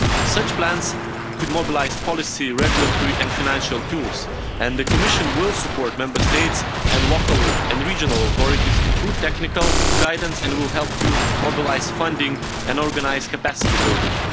Such plans could mobilise policy, regulatory and financial tools, and the Commission will support Member States and local and regional authorities through technical guidance and will help to mobilise funding and organise capacity building.